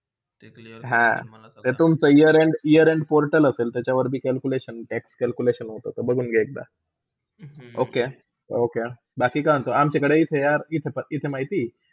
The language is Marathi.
हा, ता ते year year end बोलताना त्याच्यावर calculation एक calculation होते ते बचून घे एखदा. okay बाकी काय म्हण्तो, आणि तिकडे काय माहिती.